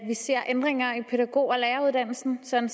vi ser ændringer i pædagog og læreruddannelsen sådan